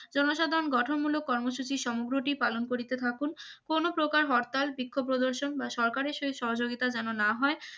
জনসাধারণ গঠনমূলক কর্মসূচি সমগ্রটি পালন করিতে থাকুন কোনো প্রকার হরতাল বিক্ষোভ প্রদর্শন বা সরকারের শহীদ সহযোগিতা যেন না হয়